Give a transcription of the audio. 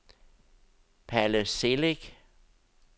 Palle Celik